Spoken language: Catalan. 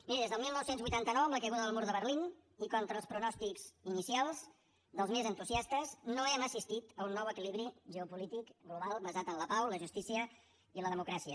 miri des del dinou vuitanta nou amb la caiguda del mur de berlín i contra els pronòstics inicials dels més entusiastes no hem assistit a un nou equilibri geopolític global basat en la pau la justícia i la democràcia